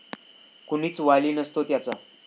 कुणीच वाली नसतो त्याचा.